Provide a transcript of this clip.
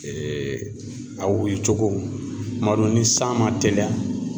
a wulicogo kuma dɔ ni san man teliya